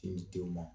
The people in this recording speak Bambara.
Sin di denw ma